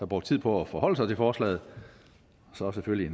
brugt tid på at forholde sig til forslaget og så selvfølgelig